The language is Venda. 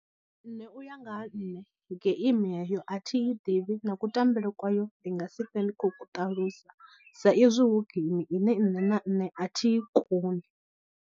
Nṋe uya nga ha nṋe geimi heyo a thi i ḓivhi na kutambele kwayo ndi nga si twe ndi khou ku ṱalusa sa izwi hu geimi ine nṋe na nṋe a thi i koni.